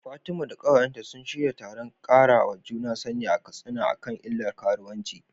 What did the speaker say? Fatima da ƙawayenta sun shirya taron ƙarawa juna sani a Katsina akan illar karuwanci.